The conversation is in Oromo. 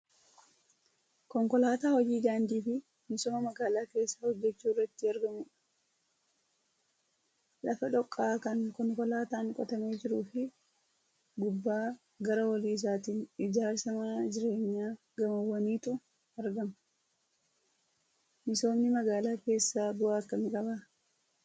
Konkolaataa hojii daandii fi misooma magaalaa keessaa hojjechuu irratti argamudha. Lafa dhooqaa kan konkolaataan qotamee jiruu fi gubbaa gara olii isaatiin ijaarsa mana jireenyaa gamoowwaniitu argama. Misoomni magaalaa keessaa bu'aa akkamii qaba?